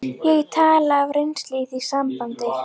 Ég tala af reynslu í því sambandi.